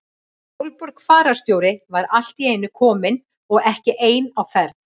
Sólborg fararstjóri var allt í einu komin og ekki ein á ferð.